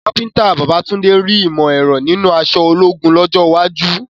Kápúténì Babátúndé rí ìmọ̀ ẹ̀rọ nínú aṣọ ológun lọ́jọ́ iwájú.